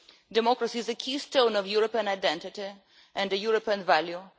Democracy is a keystone of European identity and European values.